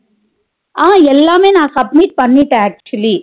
அஹ் எல்லாமே நா submit பண்ணிட்டேன் actually